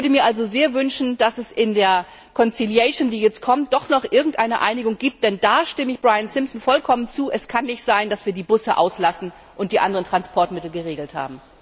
Ich würde mir also sehr wünschen, dass es in der kommenden Vermittlung doch noch irgendeine Einigung gibt, denn da stimme ich Brian Simpson vollkommen zu Es kann nicht sein, dass wir die Busse auslassen und die anderen Transportmittel geregelt haben.